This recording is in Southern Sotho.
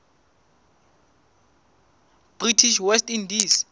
british west indies